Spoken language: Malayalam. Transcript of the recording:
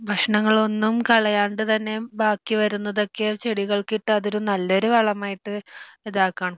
ഭക്ഷണങ്ങളൊന്നും കളയണ്ട് തന്നെ ബാക്കി വരുന്നതൊക്കെ ചെടികൾ ക്കിട്ട് അതൊരു നല്ലൊരു വളമായിട്ട് ഇതാകാം